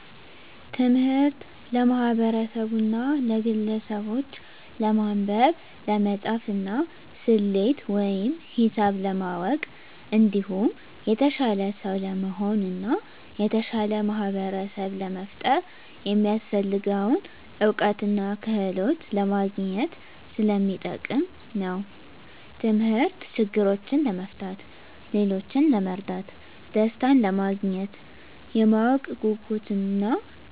ትምህርት ለማህበርሰቡና ለግለሰቡች ለማንበብ፣ ለመፃፍና፣ ሰሌት ወይም ሂሳብ ለማወቅ እንዲሁም የተሻለ ሰው ለመሆን እና የተሻለ ማህበርሰብ ለመፍጠር የሚያሰፍልገውን እውቀትና ክህሎት ለማግኝት ሰለሚጠቅም ነው። ተምህርት ችግሮችን ለመፍታት፣ ሌሎችን ለመርዳት፣ ደሰታንለማግኘት፣ የማወቅ ጉጉትን እና